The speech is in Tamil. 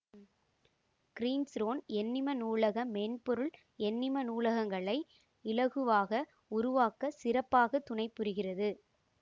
கிறீன்ஸ்ரோன் எண்ணிம நூலக மென்பொருள் எண்ணிம நூலகங்களை இலகுவாக உருவாக்க சிறப்பாகத் துணைபுரிகிறது